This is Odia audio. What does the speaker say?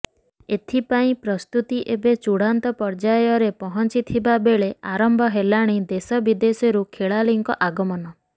ଏଥି ପାଇଁ ପ୍ରସ୍ତୁତି ଏବେ ଚୂଡାନ୍ତ ପର୍ଯ୍ୟାୟରେ ପହଞ୍ଚିଥିବା ବେଳେ ଆରମ୍ଭ ହେଲାଣି ଦେଶ ବିଦେଶରୁ ଖେଳାଳିଙ୍କ ଆଗମନ